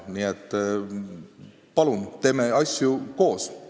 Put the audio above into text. Nii et palun, teeme asju koos!